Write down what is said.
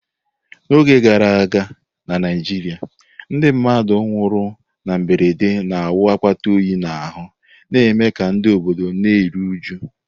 N’oge gara aga na Naijiria, ndị mmadụ nwụrụ na mberede na-awụ akpata oyi n’ahụ́, na-eme ka ndị obodo na-eru uju.